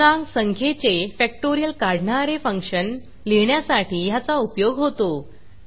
पूर्णांक संख्येचे फॅक्टोरियल काढणारे फंक्शन लिहिण्यासाठी ह्याचा उपयोग होतो